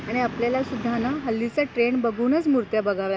आणि आपल्याला सुद्धा ना हल्लीचा ट्रेंड बघूनच मुर्त्या बघाव्या लागतील.